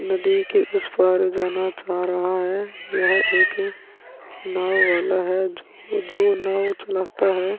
नदी के उस पार जाना चाह रहा है। यहँ एक नाव वाला है जो नाव चलता है।